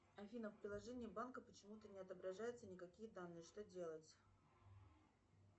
афина в приложении банка почему то не отображаюстя никакие данные что делать